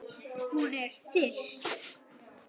Hún er þyrst.